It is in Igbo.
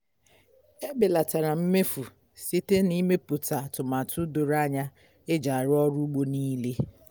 e belatara m mmefu site na ịmeputa atụmatụ doro anya eji arụ ọrụ ugbo nile